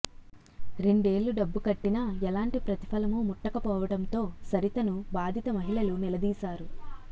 రెండేళ్లు డబ్బు కట్టినా ఎలాంటి ప్రతిఫలమూ ముట్టకపోవడంతో సరితను బాధిత మహి ళలు నిలదీశారు